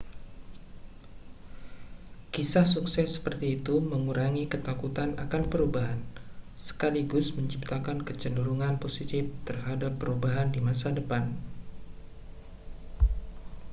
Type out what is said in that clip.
kisah sukses seperti itu mengurangi ketakutan akan perubahan sekaligus menciptakan kecenderungan positif terhadap perubahan di masa depan